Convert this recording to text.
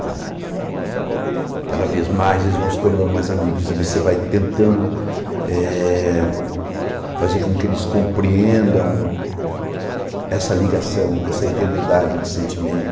Entendeu Uhum Cada vez mais eles vão se tornando mais amigos e você vai tentando eh fazer com que eles compreendam essa ligação, essa eternidade de sentimento.